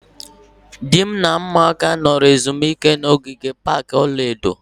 Di m na ụmụaka nọrọ ezumike ahụ na ogige pak ọla edo